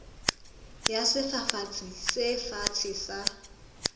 ya sefafatsi se fatshe sa